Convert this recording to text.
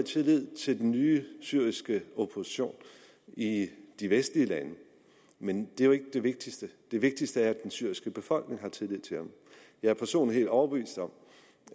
tillid til den nye syriske opposition i de vestlige lande men det er jo ikke det vigtigste det vigtigste er at den syriske befolkning har tillid til den jeg er personligt helt overbevist om